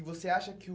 E você acha que o...